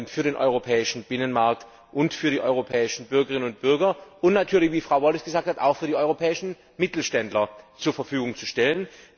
für den europäischen Binnenmarkt und für die europäischen Bürgerinnen und Bürger und natürlich wie Frau Wallis gesagt hat auch für die europäischen Mittelständler zur Verfügung zu stellen.